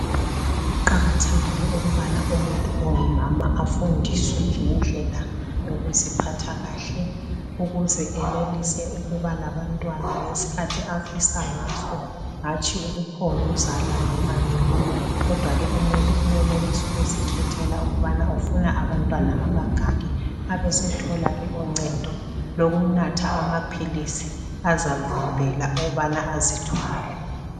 Kuqakathekile ukubana umuntu ongumama afundiswe ngendlela yokuziphatha kahle ukuze enelise ukuba labantwana ngesikhathi afisa ngaso hatshi ukuphonguzala noma nini kodwa umuntu uyenelisa ukuzikhethela ukuthi ufuna abantwana abangaki abesethola ke uncendo lokunatha amaphilisi azavimbela ukubana azithwale